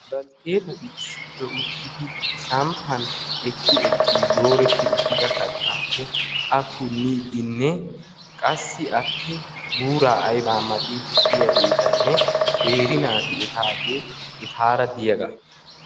Baltteetati issippe uttidi samppan ekki ekkidi dooreti uttida kattaappe a punniidinne qassi appee buuraa aybaa maxiidi diyageetanne qeeri naati etaagee etaara diyaaga.